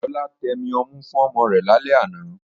Lọlá tẹmi ọmú fún ọmọ rẹ̀ lálẹ́ àná